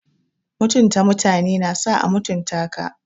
Mutunta mutane na sa a mutunta ka.